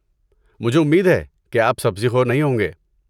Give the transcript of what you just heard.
مجھے امید ہے کہ آپ سبزی خور نہیں ہوں گے؟